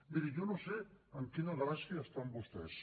miri jo no sé en quina galàxia estan vostès